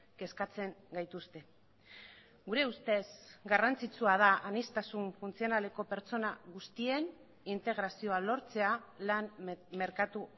kezkatzen gaituzte gure ustez garrantzitsua da aniztasun funtzionaleko pertsona guztien integrazioa lortzea lan merkatu